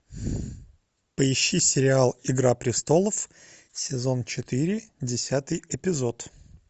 поищи сериал игра престолов сезон четыре десятый эпизод